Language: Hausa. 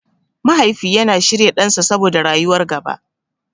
Mahaifi yana shirya ɗansa saboda rayuwar gaba.